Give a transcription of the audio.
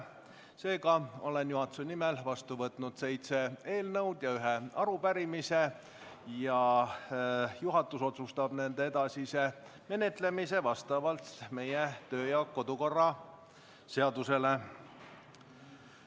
Seega olen juhatuse nimel vastu võtnud seitse eelnõu ja ühe arupärimise ning juhatus otsustab nende edasise menetlemise vastavalt meie kodu- ja töökorra seadusele.